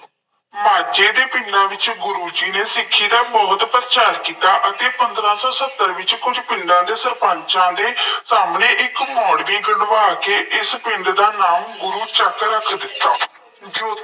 ਮਾਝੇ ਦੇ ਪਿੰਡਾਂ ਵਿੱਚ ਗੁਰੂ ਜੀ ਨੇ ਸਿੱਖੀ ਦਾ ਬਹੁਤ ਪ੍ਰਚਾਰ ਕੀਤਾ ਅਤੇ ਪੰਦਰਾਂ ਸੌ ਸੱਤਰ ਵਿੱਚ ਕੁੱਝ ਪਿੰਡਾਂ ਦੇ ਸਰਪੰਚਾਂ ਦੇ ਸਾਹਮਣੇ ਇੱਕ ਮੋੜ੍ਹਵੀ ਗੱਡਵਾ ਕੇ ਇਸ ਪਿੰਡ ਦਾ ਨਾਮ ਗੁਰੂ ਚੱਕ ਰੱਖ ਦਿੱਤਾ। ਜੋ